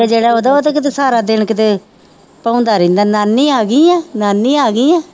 ਜਿਹੜਾ ਉਹਦਾ ਸਹਾਰਾ ਦੇਣ ਕਿਤੇ ਭਾਉਂਦਾ ਰਹਿੰਦਾ ਨਾਨੀ ਆ ਗਈ ਹੈ ਨਾਨੀ ਆ ਗਈ ਹੈ।